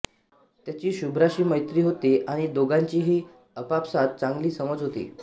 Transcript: त्याची शुभ्राशी मैत्री होते आणि दोघांचीही आपापसात चांगली समज होते